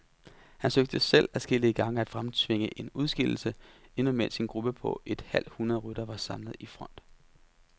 Han søgte selv adskillige gange at fremtvinge en udskillelse, endnu mens en gruppe på et halvt hundrede ryttere var samlet i front.